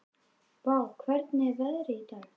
Vár, hvernig er veðrið í dag?